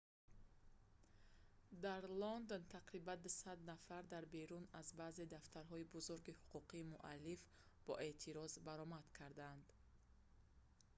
дар лондон тақрибан 200 нафар дар берун аз баъзе дафтарҳои бузурги ҳуқуқи муаллиф бо эътироз баромад карданд